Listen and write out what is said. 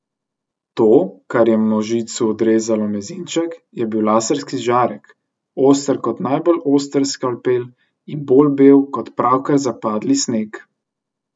To, kar je možicu odrezalo mezinček, je bil laserski žarek, oster kot najbolj oster skalpel in bolj bel kot pravkar zapadli sneg.